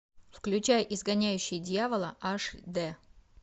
включай изгоняющий дьявола аш д